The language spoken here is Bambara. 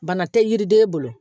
Bana tɛ yiriden bolo